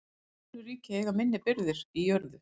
Önnur ríki eiga minni birgðir í jörðu.